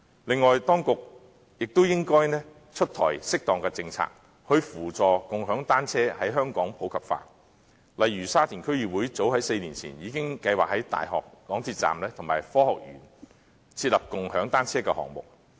此外，當局亦應提出適當的政策，以扶助共享單車在香港普及化，例如沙田區議會早在4年前已經計劃在大學港鐵站及科學園設立共享單車的項目。